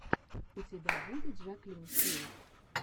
у тебя будет жаклин хилл